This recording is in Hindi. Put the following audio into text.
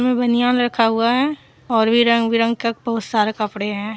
इसमें बनियान रखा हुआ है और भी रंग बिरंग के बहुत सारे कपड़े हैं।